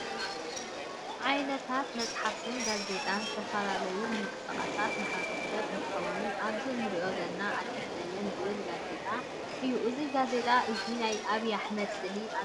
ዓይንታት መፅሓፍትን ጋዜጣን ዝተፈላለዩ ምቅስቃስ ማሕበረሰብ እንትከውን ኣብዚ እንሪኦ ዘለና ኣዲስ ዘመን ዝብል ጋዜጣ እዩ። እዚ ጋዜጣ እዙይ ናይ ኣብይ ኣሕመድ ስእሊ ኣለዎ።